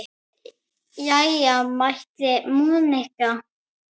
Jæja mælti Monika.